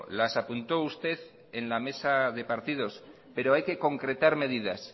las apuntó usted en la mesa de partidos pero hay que concretar medidas